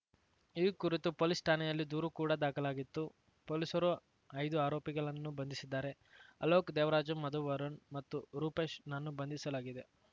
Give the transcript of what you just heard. ಈ ಕುರಿತು ಪೊಲೀಸ್ ಠಾಣೆಯಲ್ಲಿ ದೂರು ಕೂಡ ದಾಖಲಾಗಿತ್ತು ಪೊಲೀಸರು ಐದು ಆರೋಪಿಗಳನ್ನು ಬಂಧಿಸಿದ್ದಾರೆ ಅಲೋಕ್ ದೇವರಾಜು ಮಧು ವರುಣ್ ಮತ್ತು ರೂಪೇಶ್ ನನ್ನು ಬಂಧಿಸಲಾಗಿದೆ